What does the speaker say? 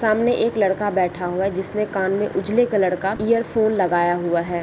सामने एक लड़का बैठा हुआ है जिसने कान मे उजले कलर का इयर फोन लगाया हुआ है।